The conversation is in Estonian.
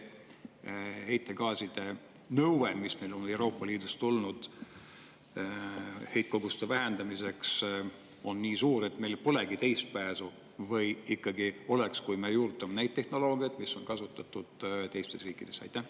Kas see nõue, mis meile Euroopa Liidust on tulnud heitkoguste vähendamiseks, on nii suur, et meil nagu polegi teist pääsu, või ikkagi oleks, kui me juurutaksime neid tehnoloogiaid, mis on kasutusel teistes riikides?